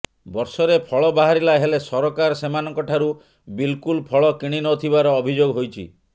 ବର୍ଷରେ ଫଳ ବାହାରିଲା ହେଲେ ସରକାର ସେମାନଙ୍କ ଠାରୁ ବିଲକୁଲ ଫଳ କିଣିନଥିବାର ଅଭିଯୋଗ ହୋଇଛି